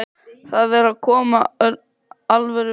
Það er að koma alvöru veður.